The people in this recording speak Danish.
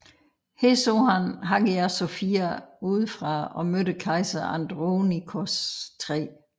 Her så han Hagia Sophia udefra og mødte kejser Andronikos 3